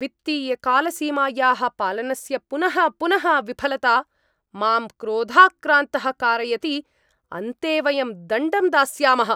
वित्तीयकालसीमायाः पालनस्य पुनः पुनः विफलता मां क्रोधाक्रान्तः कारयति, अन्ते वयं दण्डं दास्यामः।